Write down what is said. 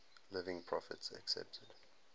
living prophets accepted